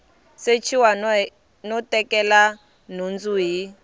sechiwa no tekela nhundzu hi